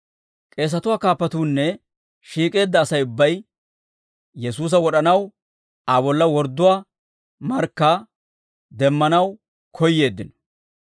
K'eesatuwaa kaappatuunne shiik'eedda Asay ubbay Yesuusa wod'anaw Aa bolla wordduwaa markkaa demmanaw koyyeeddino.